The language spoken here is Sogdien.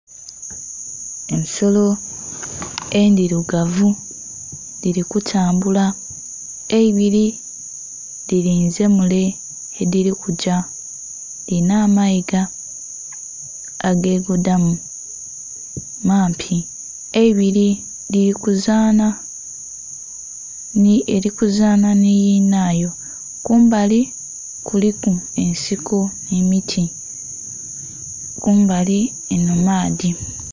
Ensolo endhilugavu dhili kutambula. Eibili dhilinze mule yedhili kugya. Dhilina amayiga agegodamu. Mampi. Eibili dhili kuzaana, eli kuzaana nhi yinaayo. Kumbali kuliku ensiko nh'emiti. Kumbali enho maadhi.